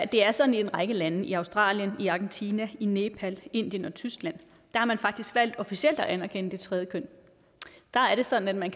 det er sådan i en række lande i australien argentina nepal indien og tyskland at man faktisk har valgt officielt at anerkende det tredje køn der er det sådan at man